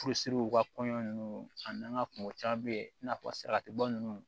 Furusiri u ka kɔɲɔ nunnu a n'an ka kungo ca be yen i n'a fɔ salati bɔ nunnu